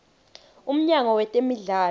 umnyango wetemidlalo